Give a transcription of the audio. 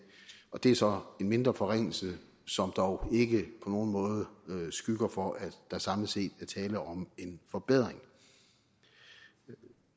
og det er så en mindre forringelse som dog ikke på nogen måde skygger for at der samlet set er tale om en forbedring